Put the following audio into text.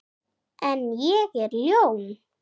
En ég er ljón.